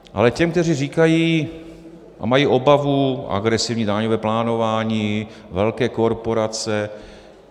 Ale těm, kteří říkají a mají obavu: agresivní daňové plánování, velké korporace.